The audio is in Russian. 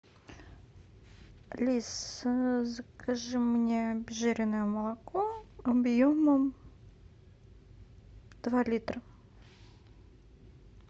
алиса закажи мне обезжиренное молоко объемом два литра